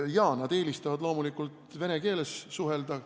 Jaa, nad eelistavad loomulikult vene keeles suhelda.